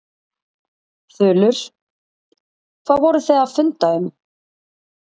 Þulur: Hvað voruð þið að funda um?